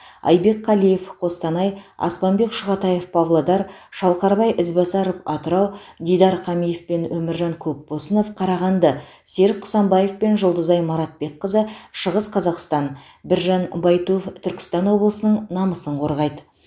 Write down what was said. айбек қалиев қостанай аспанбек шұғатаев павлодар шалқарбай ізбасаров атырау дидар қамиев пен өміржан көпбосынов қарағанды серік құсанбаев пен жұлдызай маратбекқызы шығыс қазақстан біржан байтуов түркістан облысының намысын қорғайды